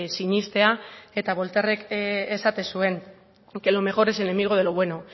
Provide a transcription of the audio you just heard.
sinestea eta voltaire esaten zuen que lo mejor es enemigo de lo bueno